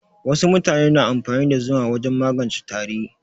Wasu mutane na amfani da zuma wajen magance tari.